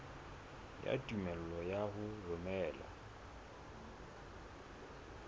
ya tumello ya ho romela